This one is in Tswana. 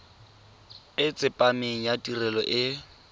e tsepameng ya tirelo e